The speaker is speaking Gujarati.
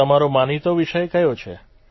તમારો માનીતો વિષય કયો છે